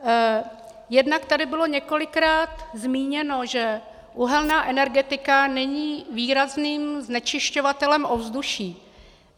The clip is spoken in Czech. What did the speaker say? Jednak tady bylo několikrát zmíněno, že uhelná energetika není výrazným znečišťovatelem ovzduší.